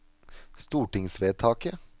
stortingsvedtaket